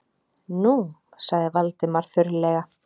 Nú- sagði Valdimar þurrlega.